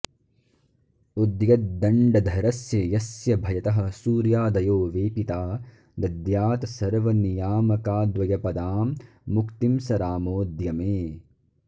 उद्यद्दण्डधरस्य यस्य भयतः सूर्यादयो वेपिता दद्यात् सर्वनियामकाद्वयपदां मुक्तिं स रामोऽद्य मे